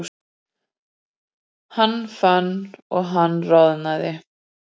Hann fann að hann roðnaði.